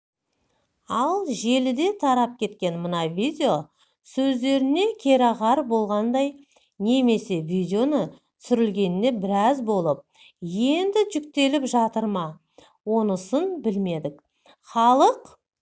ал желіде тарап кеткен мына видео сөздеріне керағар болғандай немесе видеоның түсірілгеніне біраз болып енді жүктеліп жатыр ма онысын білмедік халық